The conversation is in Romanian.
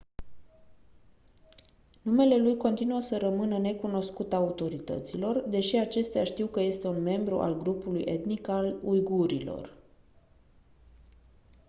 numele lui continuă să rămână necunoscut autorităților deși acestea știu că este un membru al grupului etnic al uigurilor